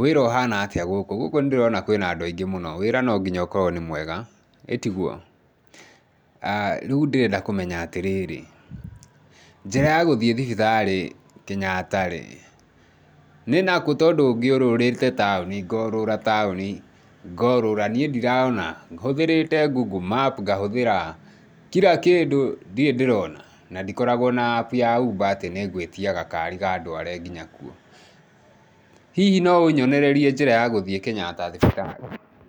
Wĩra ũhana atĩa gũkũ, gũkũ ndĩrona kwĩna andũ aingĩ mũno, wĩra no nginya ũkorwo nĩ mwega ĩtiguo? Ah rĩu ndĩrenda kũmenya atĩrĩrĩ njĩra ya gũthiĩ thibitarĩ Kenyatta-rĩ nĩ nakũ tondũ ngĩũrũrĩte taũni ngorũra taũni ngorũra, hũthĩrĩte google map ngahũthĩra kira kĩndũ ndirĩ ndĩrona na ndikoragwo na app ya uber atĩ nĩngwĩtia gakari gandware nginya kuo. Hihi no ũnyonererie njĩra ya gũthĩĩ kenyatta thibitarĩ?